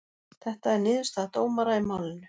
Þetta er niðurstaða dómara í málinu